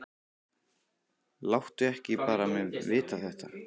Láttu ekki bara mig vita þetta.